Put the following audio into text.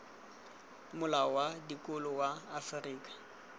molao wa dikolo wa afrika